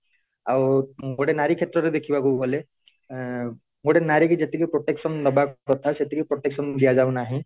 ଆଉ ଗୋଟେ ନାରୀ କ୍ଷେତ୍ର ରେ ଦେଖିବାକୁ ଗଲେ ଏଇଏନ ଗୋଟେ ନାରୀ କୁ ଯେତିକି protection ଦବା କଥା ସେତିକି protection ଦିଆଯାଉ ନହିଁ